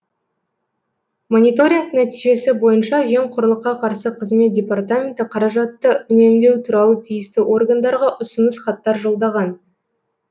мониторинг нәтижесі бойынша жемқорлыққа қарсы қызмет департаменті қаражатты үнемдеу туралы тиісті органдарға ұсыныс хаттар жолдаған